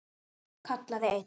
kallaði einn.